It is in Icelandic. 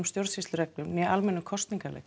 stjórnsýslureglum né almennum kosningareglum